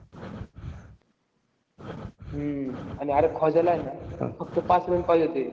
हम्म आन अरे ख्वाजाला हे ना फक्त पाच run पाहिजे होते.